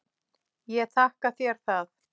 Ég þakka þér það.